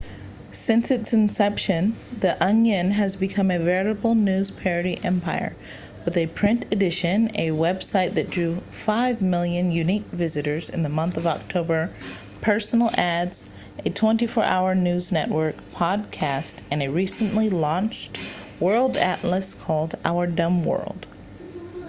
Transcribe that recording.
since its inception the onion has become a veritable news parody empire with a print edition a website that drew 5,000,000 unique visitors in the month of october personal ads a 24 hour news network podcasts and a recently launched world atlas called our dumb world